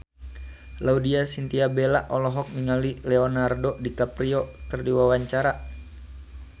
Laudya Chintya Bella olohok ningali Leonardo DiCaprio keur diwawancara